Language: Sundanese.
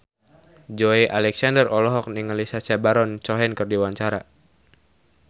Joey Alexander olohok ningali Sacha Baron Cohen keur diwawancara